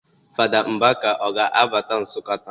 Fada Mbaka ọ ga-abata Nsụka taa?